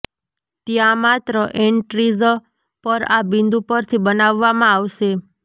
ત્યાં માત્ર એન્ટ્રીઝ પર આ બિંદુ પરથી બનાવવામાં આવશે